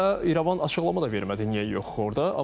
Və İrəvan açıqlama da vermədi, niyə yoxdur orda.